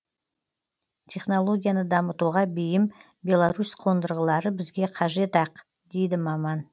технологияны дамытуға бейім беларусь қондырғылары бізге қажет ақ дейді маман